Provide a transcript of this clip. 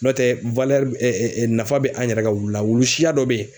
N'o tɛ nafa bɛ an yɛrɛ ka wulu la wulu siya dɔ bɛ ye